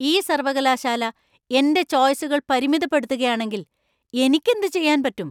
ഈ സർവകലാശാല എന്‍റെ ചോയ്‌സുകൾ പരിമിതപ്പെടുത്തുകയാണെങ്കിൽ എനിക്ക് എന്തുചെയ്യാൻ പറ്റും?